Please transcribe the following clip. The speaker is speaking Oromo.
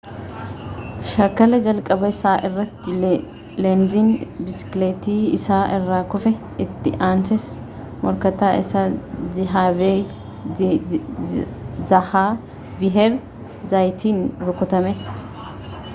shaakala jalqabaa isaa irratti leenziin biskileettii isaa irraa kufe itti ansees morkataa isaa zhaaviyeer zaayaatiin rukutame